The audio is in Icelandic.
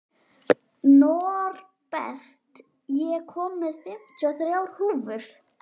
Norbert, ég kom með fimmtíu og þrjár húfur!